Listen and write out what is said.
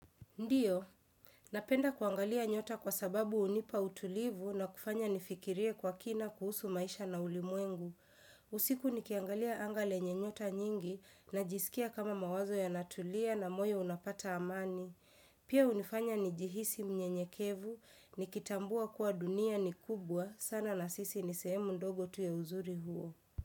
Ndiyo, napenda kuangalia nyota kwa sababu hunipa utulivu na kufanya nifikirie kwa kina kuhusu maisha na ulimwengu. Usiku nikiangalia anga lenye nyota nyingi najisikia kama mawazo yanatulia na moyo unapata amani. Pia hunifanya nijihisi mnyenyekevu, nikitambua kuwa dunia ni kubwa sana na sisi ni sehemu ndogo tu ya uzuri huo.